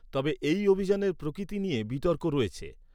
তবে এই অভিযানের প্রকৃতি নিয়ে বিতর্ক রয়েছে।